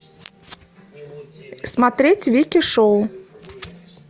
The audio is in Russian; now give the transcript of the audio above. смотреть вики шоу